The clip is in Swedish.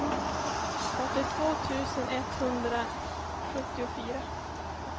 åttiotvå tusen etthundrasjuttiofyra